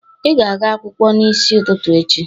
Ị ga-aga akwụkwọ n'isi ụtụtụ echi